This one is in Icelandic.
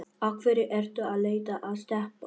Af hverju ertu að leita að Stebba